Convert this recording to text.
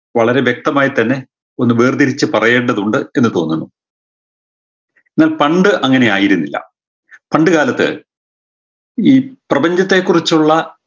വളരെ വ്യക്തമായ് തന്നെ ഒന്ന് വേർതിരിച്ചു പറയേണ്ടതുണ്ട് എന്ന് തോന്നുന്നു എന്നാൽ പണ്ട് അങ്ങനെയായിരുന്നില്ല പണ്ടുകാലത്ത് ഈ പ്രപഞ്ചത്തെ കുറിച്ചുള്ള